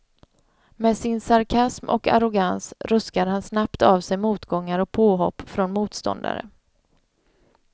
Med sin sarkasm och arrogans ruskar han snabbt av sig motgångar och påhopp från motståndare.